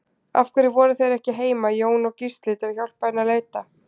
Af hverju voru þeir ekki heima, Jón og Gísli, til að hjálpa henni að leita?